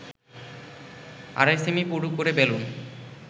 আড়াই সেমি পুরু করে বেলুন